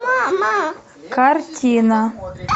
картина